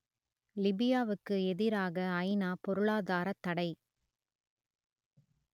லிபியாவுக்கு எதிராக ஐநா பொருளாதாரத் தடை